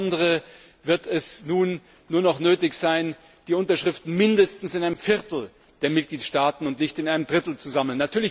Insbesondere wird es nun nur noch nötig sein, die Unterschriften mindestens in einem Viertel der Mitgliedstaaten und nicht in einem Drittel zu sammeln.